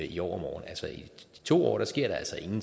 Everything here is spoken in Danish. i overmorgen altså i to år sker